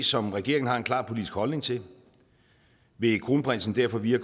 som regeringen har en klar politisk holdning til vil kronprinsen derfor via